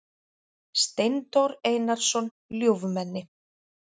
Steindór Einarsson ljúfmenni.